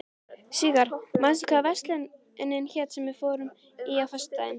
Sigarr, manstu hvað verslunin hét sem við fórum í á föstudaginn?